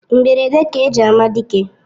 Mgberede ka eji ama dike